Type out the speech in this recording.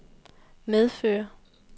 medføre